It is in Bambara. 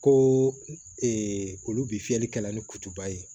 Ko olu bi fiyɛli kɛla ni kutuba ye